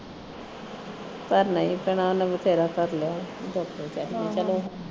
ਪਰ ਨਹੀਂ ਭੈਣਾਂ ਓਹਨੇ ਵੀ ਪੈਰਾ ਧਰ ਲਿਆ ਹੋਵੇ ਕਿ ਕਰ ਸਕਦੇ ਆਪਾ ਚਲੋ